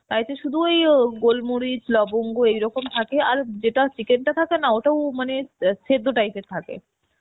শুধু ওইরকম গোলমরিচ লবঙ্গ এইরকম থাকে আর যেটা chicken টা থাকে না ওটাও মানে সেদ্ধ type এর থাকে